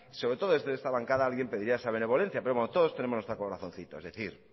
sobre todo desde esta bancada alguien pediría esa benevolencia pero bueno todos tenemos nuestro corazoncito es decir